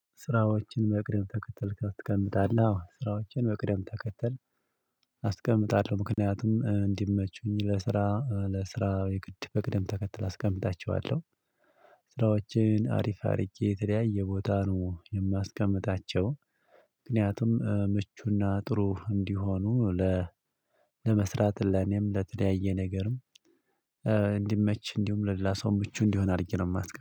ስራዎችን በቅደም ተከተል ታስቀምጣለህ? አዎ ስራዎቼን በቅደም ተከተል አስቀምጣለሁ ምክንያቱም እንዲመቹኝ ለስራ ለስራ የግድ በቅደም ተከተል አስቀምጣቸዋለሁ ስራዎቼን አሪፍ አድርጌ የተለያየ ቦታ ነው የማስቀምጣቸው ምክንያቱም ምቹና ጥሩ እንዲሆኑ ለመስራት ለኔም ለተለያየ ነገርም እንዲመች እንዲሁም ለሌላ ሰው ምቹ እንዲሆን አድርጌ ነው የማትቀበል